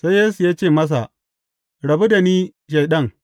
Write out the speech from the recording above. Sai Yesu ya ce masa, Rabu da ni, Shaiɗan!